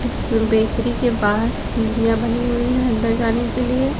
Sir bakery के बाहर सीढ़ियां बनी हुई हैं अंदर जाने के लिए।